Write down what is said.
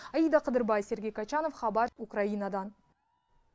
аида қыдырбай сергей качанов хабар украинадан